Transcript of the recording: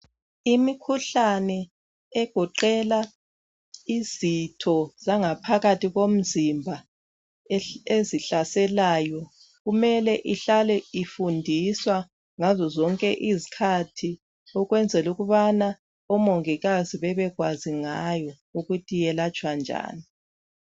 Imikhuhlane egoqela izitho zangaphakathi komzimba ezihlaselayo, kumele ihlale ifundiswa ngazozonke izikhathi ukwenzela ukubana oMongikazi babekwazi ngayo ukuthi yelatshwa njani.